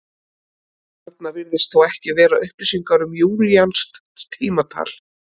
Þarna virðast þó ekki vera upplýsingar um júlíanskt tímatal.